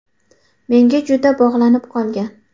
Menga juda bog‘lanib qolgan.